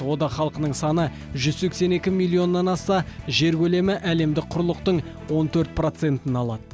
одақ халқының саны жүз сексен екі миллионнан асса жер көлемі әлемдік құрлықтың он төрт процентін алады